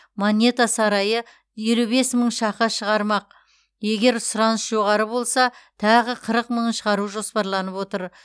монета сарайы елу бес мың шақа шығармақ егер сұраныс жоғары болса тағы қырық мыңын шығару жоспарланып отыр